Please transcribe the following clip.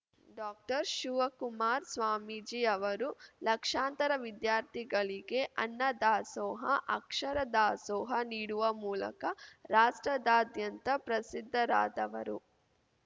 ಡಾಕ್ಟರ್ಶಿವಕುಮಾರ್ ಸ್ವಾಮೀಜಿಯವರು ಲಕ್ಷಾಂತರ ವಿದ್ಯಾರ್ಥಿಗಳಿಗೆ ಅನ್ನ ದಾಸೋಹ ಅಕ್ಷರ ದಾಸೋಹ ನೀಡುವ ಮೂಲಕ ರಾಷ್ಟ್ರದಾದ್ಯಂತ ಪ್ರಸಿದ್ಧರಾದವರು